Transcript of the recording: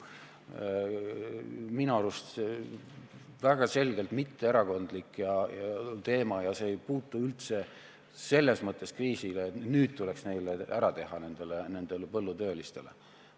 Minu arvates on see väga selgelt mitteerakondlik teema ega puuduta üldse kriisi selles mõttes, et nüüd tuleks nendele põllutöölistele kuidagi ära teha.